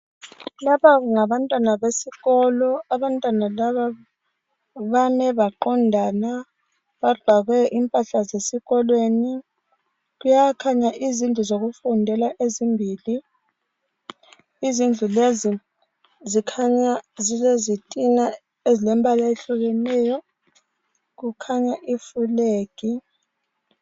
Lapha ngabantwana besikolo abame baqondana. Bagqoke impahla zesikolo. Kuyakhanya izindlu zokufundela ezimbili. Izindlu lezi zilezitina ezilemibala eyehlukeneyo. Kukhona ifulegi.